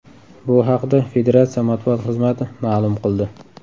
Bu haqda Federatsiya matbuot xizmati ma’lum qildi .